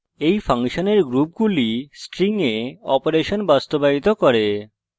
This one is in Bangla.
এই ফাংশনের গ্রুপগুলি strings এ অপারেশন বাস্তবায়িত করে